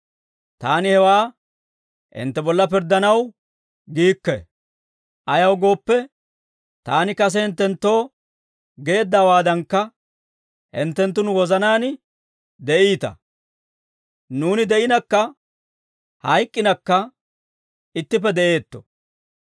Taani hewaa hintte bolla pirddanaw giikke; ayaw gooppe, taani kase hinttenttoo geeddawaadankka, hinttenttu nu wozanaan de'iita; nuuni de'inakka hayk'k'inakka, ittippe de'eetto.